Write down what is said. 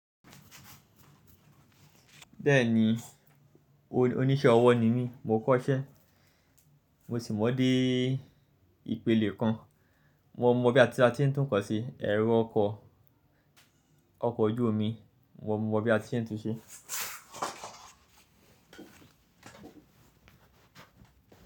Bẹ́ẹ̀ni, oníṣẹ́ ọwọ́ ni mí, mo kọ́ṣẹ́ mo sì mọ dé ìpele kan. Mo mọ bí a ti ń tún nnkan ṣe, ẹ̀rọ ọkọ̀, ọkọ̀ ojú omi. Mo mọ bí a tí se ń tu ṣe.